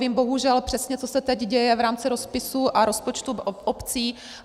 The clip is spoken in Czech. Vím bohužel přesně, co se teď děje v rámci rozpisů a rozpočtů obcí.